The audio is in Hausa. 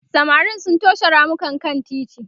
samarin sun toshe ramukan kan titi